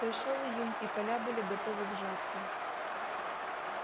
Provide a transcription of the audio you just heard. пришёл июнь и поля были готовы к жатве